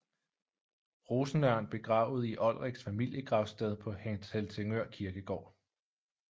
Rosenørn Begravet i Olriks familiegravsted på Helsingør Kirkegård